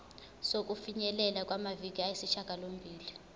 sokufinyelela kumaviki ayisishagalombili